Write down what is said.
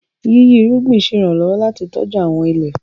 yiyi irúgbìn ṣe iranlọwọ láti tọjú àwọn ilé.